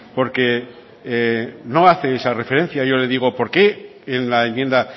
porque no hace esa referencia yo le digo por qué en la enmienda